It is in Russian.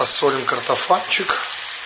посолим картофанчик